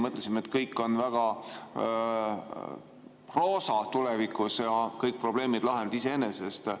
Mõtlesime, et kõik on väga roosa tulevikus ja kõik probleemid lahenevad iseenesest.